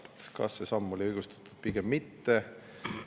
Kas oli see samm õigustatud või pigem mitte?